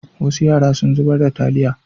Wasu yara sun zubar da taliya.